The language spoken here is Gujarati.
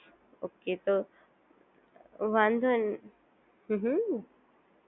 ઓકે તો વાંધો હમ્મ હમ્મ